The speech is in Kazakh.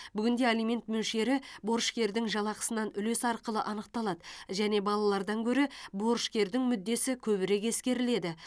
бүгінде алимент мөлшері борышкердің жалақысынан үлес арқылы анықталады және балалардан гөрі борышкердің мүддесі көбірек ескеріледі